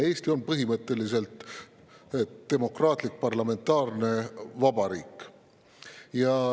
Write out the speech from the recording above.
Eesti on põhimõtteliselt demokraatlik parlamentaarne vabariik.